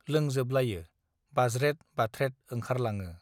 लोंजोबलायो बाज्रेद बाथ्रेद ओंखरलाङो